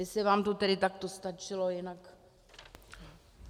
Jestli vám to tedy takto stačilo, jinak...